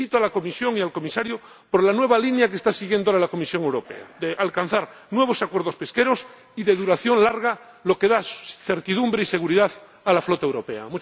Felicito a la Comisión y al Comisario por la nueva línea que está siguiendo ahora la Comisión Europea de alcanzar nuevos acuerdos pesqueros y de duración larga, lo que da certidumbre y seguridad a la flota europea.